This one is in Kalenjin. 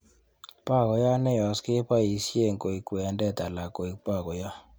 Bokoiyot neyos keboisien koik kwended alan koik bokoyot